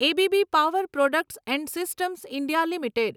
A B B power products and systems India limited